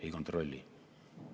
Ei kontrolli.